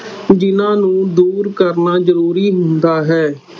ਜਿਹਨਾਂ ਨੂੰ ਦੂਰ ਕਰਨਾ ਜ਼ਰੂਰੀ ਹੁੰਦਾ ਹੈ।